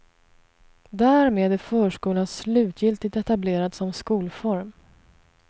Därmed är förskolan slutgiltigt etablerad som skolform.